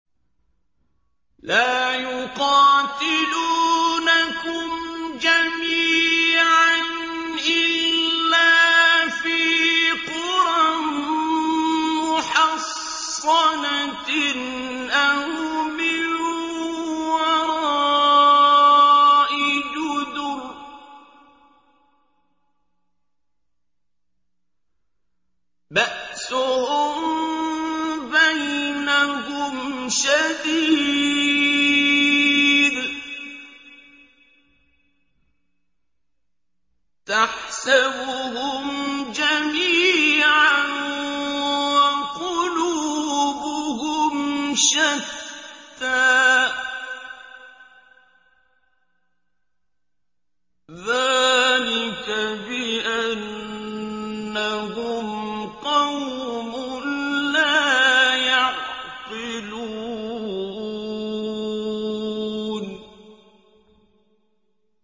لَا يُقَاتِلُونَكُمْ جَمِيعًا إِلَّا فِي قُرًى مُّحَصَّنَةٍ أَوْ مِن وَرَاءِ جُدُرٍ ۚ بَأْسُهُم بَيْنَهُمْ شَدِيدٌ ۚ تَحْسَبُهُمْ جَمِيعًا وَقُلُوبُهُمْ شَتَّىٰ ۚ ذَٰلِكَ بِأَنَّهُمْ قَوْمٌ لَّا يَعْقِلُونَ